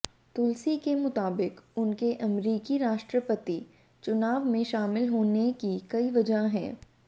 तुलसी के मुताबिक उनके अमेरिकी राष्ट्रपति चुनाव में शामिल होने की कई वजह हैं